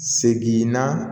Segin na